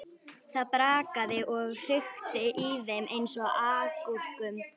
Það brakaði og hrikti í þeim eins og agúrkum.